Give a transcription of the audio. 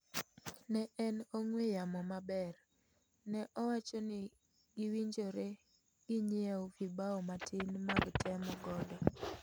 Ne en ong'wee yamo maber',ne owachoni giwinjore ginyiew vibau matin mag temo godo.